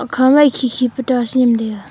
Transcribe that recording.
hukha na khe khe dus nap taiga.